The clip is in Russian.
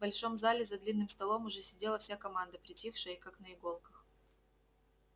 в большом зале за длинным столом уже сидела вся команда притихшая и как на иголках